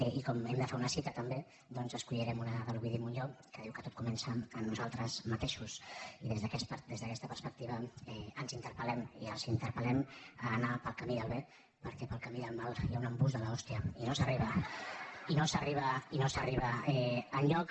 i com que hem de fer una cita també doncs n’escollirem una de l’ovidi montllor que diu que tot comença amb nosaltres mateixos i des d’aquesta perspectiva ens interpel·lem i els interpellem a anar pel camí del bé perquè pel camí del mal hi ha un embús de l’hòstia i no s’arriba enlloc